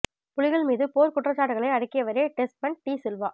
புலிகள் மீது போர்க் குற்றச் சாட்டுக்களை அடுக்கியவரே டெஸ்மன் டீ சில்வா